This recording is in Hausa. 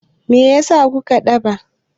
Me yasa ku ka daɗe?